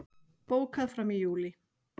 Bókað fram í júlí